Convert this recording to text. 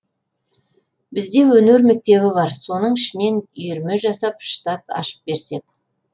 бізде өнер мектебі бар соның ішінен үйірме жасап штат ашып берсек